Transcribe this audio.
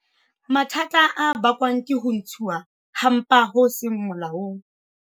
Mathata a bakwang ke ho ntshuwa ha mpa ho seng molaong.